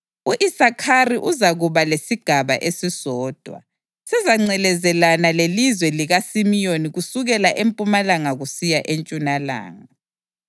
U-Isakhari uzakuba lesigaba esisodwa; sizangcelezelana lelizwe likaSimiyoni kusukela empumalanga kusiya entshonalanga.